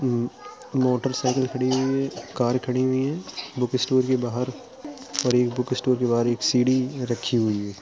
म् motorcycle खड़ी हुई है कार खड़ी हुईं हैं। बुक स्टोर के बाहर और ये बुक स्टोर के बाहर एक सीढ़ी रखी हुई है।